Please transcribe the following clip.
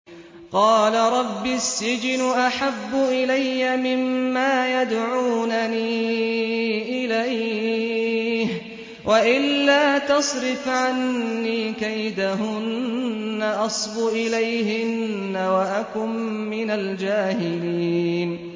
قَالَ رَبِّ السِّجْنُ أَحَبُّ إِلَيَّ مِمَّا يَدْعُونَنِي إِلَيْهِ ۖ وَإِلَّا تَصْرِفْ عَنِّي كَيْدَهُنَّ أَصْبُ إِلَيْهِنَّ وَأَكُن مِّنَ الْجَاهِلِينَ